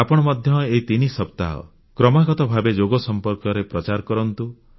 ଆପଣ ମଧ୍ୟ ଏହି ତିନି ସପ୍ତାହ କ୍ରମାଗତ ଭାବେ ଯୋଗ ସମ୍ପର୍କରେ ପ୍ରଚାର କରନ୍ତୁ